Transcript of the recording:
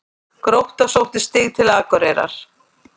Grótta sótti stig til Akureyrar